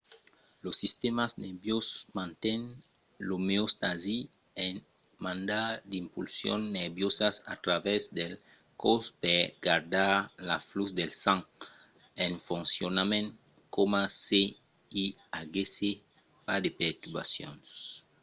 lo sistèma nerviós manten l'omeostasi en mandar d'impulsions nerviosas a travèrs del còs per gardar lo flux del sang en foncionament coma se i aguèsse pas de perturbacions